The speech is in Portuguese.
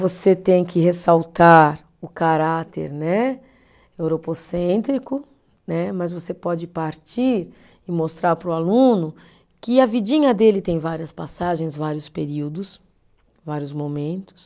Você tem que ressaltar o caráter né, europocêntrico né, mas você pode partir e mostrar para o aluno que a vidinha dele tem várias passagens, vários períodos, vários momentos.